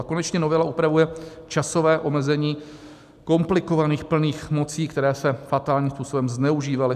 A konečně novela upravuje časové omezení komplikovaných plných mocí, které se fatálním způsobem zneužívaly.